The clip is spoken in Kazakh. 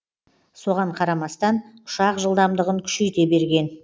соған қарамастан ұшақ жылдамдығын күшейте берген